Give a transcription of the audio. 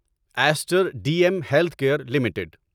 Easter D M Healthcare کیئر limited